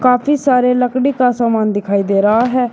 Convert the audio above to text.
काफी सारे लकड़ी का सामान दिखाई दे रहा है।